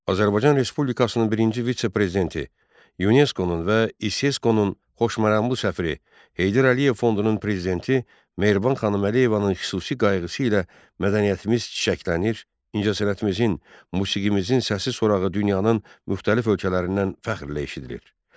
Azərbaycan Respublikasının birinci vitse-prezidenti, UNESCO-nun və ISESCO-nun xoşməramlı səfiri, Heydər Əliyev Fondunun prezidenti Mehriban xanım Əliyevanın xüsusi qayğısı ilə mədəniyyətimiz çiçəklənir, incəsənətimizin, musiqimizin səs-sorağı dünyanın müxtəlif ölkələrindən fəxrlə eşidilir.